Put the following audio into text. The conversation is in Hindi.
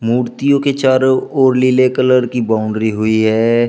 मूर्तियों के चारों ओर नीले कलर की बाउंड्री हुई है।